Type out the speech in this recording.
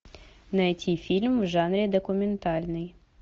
найти фильм в жанре документальный